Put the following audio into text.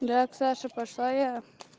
да к саше пошла я